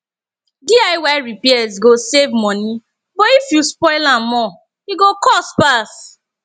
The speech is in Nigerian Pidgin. diy repairs go save money but if you spoil am more e go cost pass